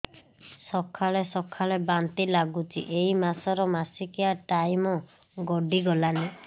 ସକାଳେ ସକାଳେ ବାନ୍ତି ଲାଗୁଚି ଏଇ ମାସ ର ମାସିକିଆ ଟାଇମ ଗଡ଼ି ଗଲାଣି